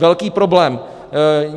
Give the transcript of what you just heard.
Velký problém!